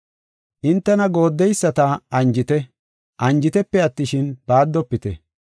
Hintena goodeyisata anjite; anjitepe attishin, baaddofite.